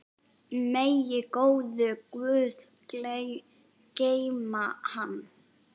Megi góður guð geyma hann.